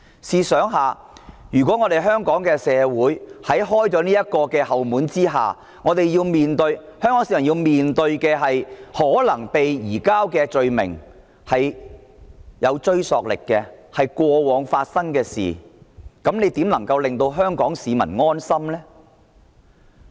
試想一想，如果香港社會打開這道後門後，香港市民便要面對被移交的權力有追溯力的問題，試問局長如何能夠令香港市民安心？